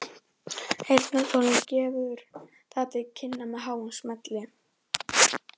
Heyrnartólið gefur það til kynna með háum smelli.